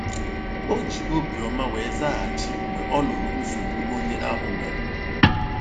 O ji obi ọma wee zaghachi mgbe ọ nụrụ nsogbu onye ahụ nwere.